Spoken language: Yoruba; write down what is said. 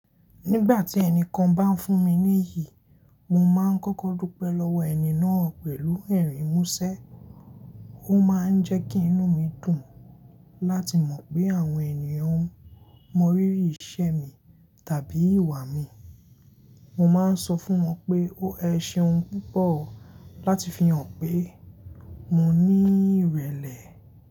Nígbà tí ẹnìkan bá ń fún mi ní iyì, mo máa ń kọ́kọ́ dúpẹ́ lọ́wọ́ ẹni náà pẹ̀lú ẹ̀rín múṣẹ́. Ó máa ń jẹ́ kí inú mi dùn láti mọ̀ pé àwọn ènìyàn mọ rírì iṣẹ́ mi tàbí ìwà mi. Mo máa ń sọ fún wọn pé o ẹ ṣeun púpọ̀ láti fi hàn pé mo ní ìrẹ̀lẹ̀.